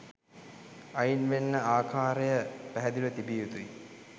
අයින් වෙන්න ආකාරය පැහැදිලිව තිබිය යුතුයි.